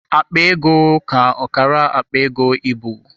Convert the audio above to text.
Akpa ego ka ọkara akpa ego ịbụ.